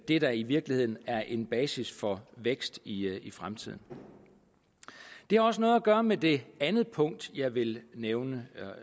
det der i virkeligheden er en basis for vækst i fremtiden det har også noget at gøre med det andet punkt jeg vil nævne